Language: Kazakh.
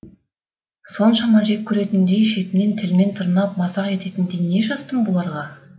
соншама жек көретіндей шетінен тілмен тырнап мазақ ететіндей не жаздым бұларға